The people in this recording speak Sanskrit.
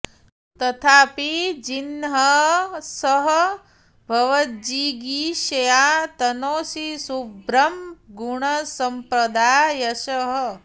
तथापि जिह्मः स भवज्जिगीषया तनोति शुभ्रं गुणसम्पदा यशः